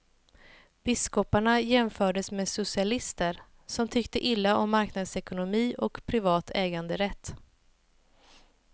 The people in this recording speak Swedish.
Biskoparna jämfördes med socialister, som tycker illa om marknadsekonomi och privat äganderätt.